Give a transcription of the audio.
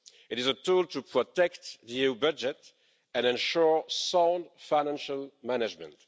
It is a tool to protect the EU budget and ensure sound financial management.